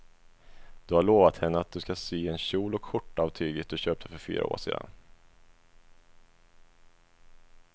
Du har lovat henne att du ska sy en kjol och skjorta av tyget du köpte för fyra år sedan.